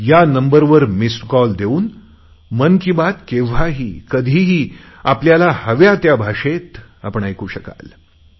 या नंबरवर missed call देऊन मन की बात केव्हाही कधीही आपल्याला हव्या त्या भाषेत आपण ऐकू शकाल